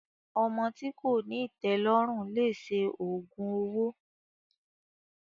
Ọmọ tí kòní ìtẹ́lọ́rùn lese òògùn owó.